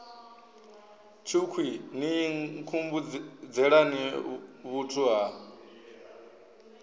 tshukhwii ni nkhumbudzelani vhuthu ha